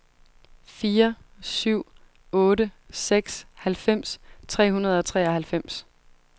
fire syv otte seks halvfems tre hundrede og treoghalvfems